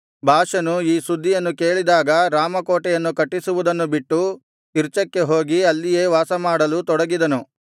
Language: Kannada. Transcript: ಬಾಷನು ಈ ಸುದ್ದಿಯನ್ನು ಕೇಳಿದಾಗ ರಾಮಕೋಟೆಯನ್ನು ಕಟ್ಟಿಸುವುದನ್ನು ಬಿಟ್ಟು ತಿರ್ಚಕ್ಕೆ ಹೋಗಿ ಅಲ್ಲಿಯೇ ವಾಸಮಾಡಲು ತೊಡಗಿದನು